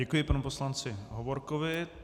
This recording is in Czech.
Děkuji panu poslanci Hovorkovi.